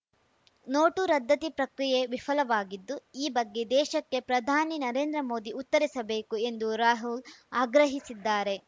note ರದ್ದತಿ ಪ್ರಕ್ರಿಯೆ ವಿಫಲವಾಗಿದ್ದು ಈ ಬಗ್ಗೆ ದೇಶಕ್ಕೆ ಪ್ರಧಾನಿ ನರೇಂದ್ರ ಮೋದಿ ಉತ್ತರಿಸಬೇಕು ಎಂದು ರಾಹುಲ್‌ ಆಗ್ರಹಿಸಿದ್ದಾರೆ